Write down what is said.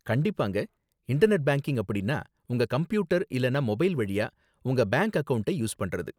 கண்டிப்பாங்க, internet banking அப்படின்னா உங்க கம்ப்யூட்டர் இல்லனா மொபைல் வழியா உங்க பேங்க் அக்கவுண்டை யூஸ் பண்றது.